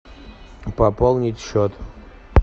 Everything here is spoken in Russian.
пополнить счет